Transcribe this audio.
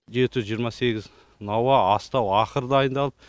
жеті жүз жиырма сегіз науа астау ақыр дайындалып